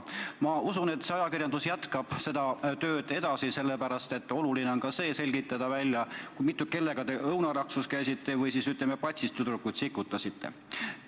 Ma usun, et ajakirjandus jätkab seda tööd, sest oluline on selgitada välja ka see, kellega te õunaraksus käisite või tüdrukuid patsist sikutasite.